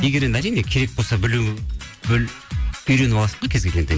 егер әрине керек болса білу үйреніп аласың ғой кез келген